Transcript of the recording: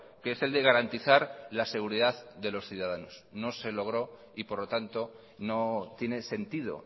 que es el de garantizar la seguridad de los ciudadanos no se logró y por lo tanto no tiene sentido